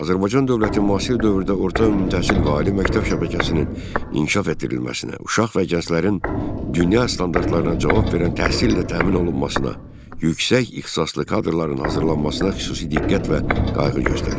Azərbaycan dövləti müasir dövrdə orta ümümtəhsil və ali məktəb şəbəkəsinin inkişaf etdirilməsinə, uşaq və gənclərin dünya standartlarına cavab verən təhsillə təmin olunmasına, yüksək ixtisaslı kadrların hazırlanmasına xüsusi diqqət və qayğı göstərir.